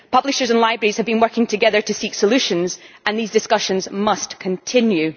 Publishers and libraries have been working together to seek solutions, and these discussions must continue.